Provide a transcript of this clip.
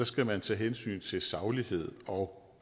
skal man tage hensyn til saglighed og